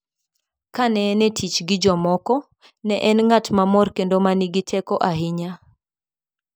"Kane en e tich gi jomoko, ne en ng'at mamor kendo ma nigi teko ahinya.